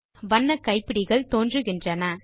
வண்ண கைப்பிடிகள் தோன்றுகின்றன